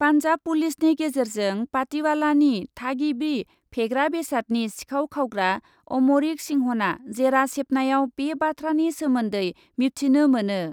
पान्जाब पुलिसनि गेजेरजों पाटिवालानि थागिबि फेग्रा बेसादनि सिखाव खावग्रा अमरिक सिंहना जेरा सेबनायाव बे बाथ्रानि सोमोन्दै मिबथिनो मोनो।